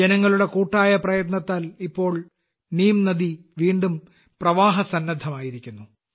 ജനങ്ങളുടെ കൂട്ടായ പ്രയത്നത്താൽ ഇപ്പോൾ നീംനദി വീണ്ടും പ്രവാഹസന്നദ്ധമായിരിക്കുന്നു